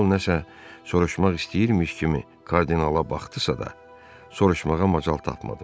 Kral nəsə soruşmaq istəyirmiş kimi kardinala baxdısa da, soruşmağa macal tapmadı.